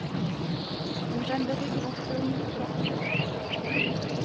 Hon vände ryggen åt kung, drottning och press.